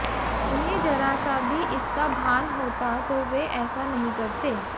उन्हें जरा सा भी इसका भान होता तो वे ऐसा नहीं करते